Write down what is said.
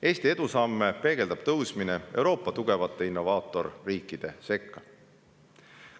Eesti edusamme peegeldab tõusmine Euroopa tugevate innovaatorriikide sekka.